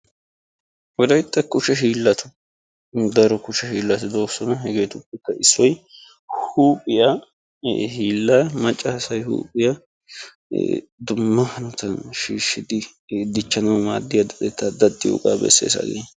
wolaytta daro hiilati doosona. hegeetuppe issoy huuphiya hiilaa. macca say huuphiya dumma hanotan shiishidi daddanawu maadiya hanotaa besees.